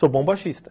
Sou bom baixista.